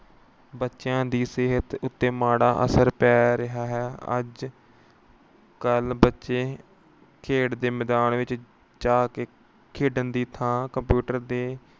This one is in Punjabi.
ਬੱਚਿਆਂ ਦੀ ਸਿਹਤ ਉੱਤੇ ਮਾੜਾ ਅਸਰ ਪੈ ਰਿਹਾ ਹੈ। ਅੱਜ ਕੱਲ੍ਹ ਬੱਚੇ ਖੇਡ ਦੇ ਮੈਦਾਨ ਵਿੱਚ ਜਾ ਕੇ ਖੇਡਣ ਦੀ ਥਾਂ computer ਦੇ